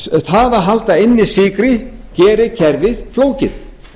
það að halda inni sykri gerir kerfið flókið